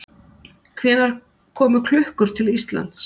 Hvenær komu klukkur til Íslands?